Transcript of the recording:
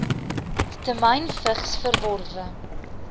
temyn vigs verworwe